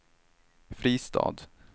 Fristad